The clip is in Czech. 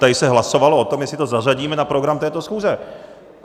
Tady se hlasovalo o tom, jestli to zařadíme na program této schůze.